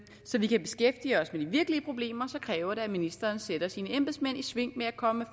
så vi kan beskæftige os med de virkelige problemer kræver det at ministeren sætter sine embedsmænd i sving med at komme